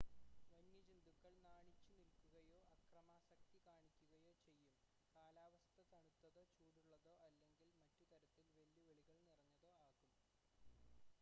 വന്യജന്തുക്കൾ നാണിച്ചുനിൽക്കുകയോ അക്രമാസക്തി കാണിക്കുകയോ ചെയ്യും കാലാവസ്ഥ തണുത്തതോ ചൂടുള്ളതോ അല്ലെങ്കിൽ മറ്റുതരത്തിൽ വെല്ലുവിളികൾ നിറഞ്ഞതോ ആകും